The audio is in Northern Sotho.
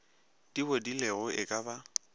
di bodilego e ka ba